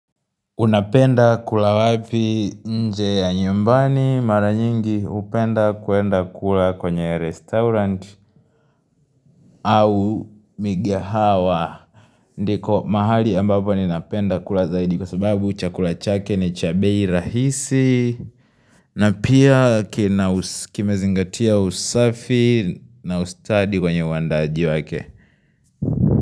Unapenda kula wapi nje au nyumbani mara nyingi upenda kuenda kula kwenye restaurant au migahawa. Ndiko mahali ambapo ninapenda kula zaidi kwa sababu chakula chake ni cha bei rahisi. Na pia kimezingatia usafi na ustadi kwenye uandaji wake.